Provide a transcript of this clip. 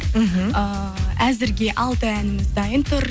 мхм ііі әзірге алты әніміз дайын тұр